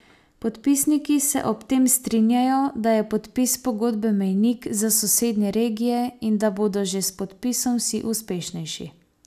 Podpisniki se ob tem strinjajo, da je podpis pogodbe mejnik za sosednje regije in da bodo že s podpisom vsi uspešnejši.